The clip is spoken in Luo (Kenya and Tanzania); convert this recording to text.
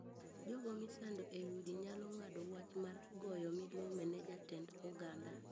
Jogo misando ei udi nyalo ng’ado wach mar goyo milome ne jatend oganda.